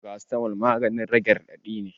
Farasitamol maganin rage raɗaɗi ne